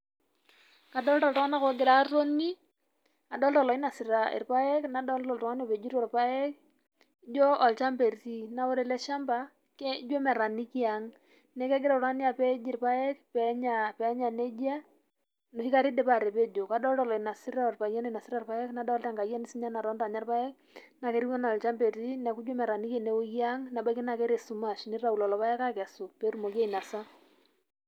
Kadolita iltungana ongira atoni, adolita loinasita ilpaek, nadolta oltungani opejito ilpaek ,na ijio olchamba eti, na ijio ore ele shamba ijio metaniki ang, niaku egira oltungani apej ilpaek penya neijia enoshi kata indipa atapejo kadolita oloinosita olpayian oinosita ilpaek, nadolita sininye enkayioni natonita sininye aja ilapek na etieu ena olchamba eti niaku ijio metaninki ine weuji ang nebaiki na keta esumash nitayu lelo paek akesu petumoki ainosa.